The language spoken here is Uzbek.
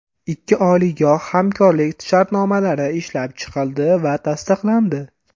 Ikki oliygoh hamkorlik shartnomalari ishlab chiqildi va tasdiqlandi.